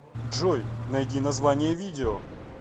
джой найди название видео